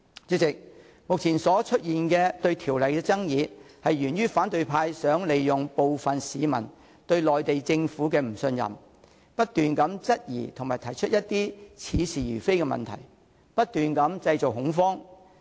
主席，目前出現對《條例草案》的爭議，源於反對派想利用部分市民對內地政府的不信任，不斷質疑和提出一些似是而非的問題，製造恐慌。